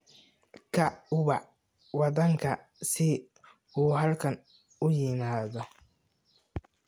Kaac uu wac waadanka si uu halkan u yimaado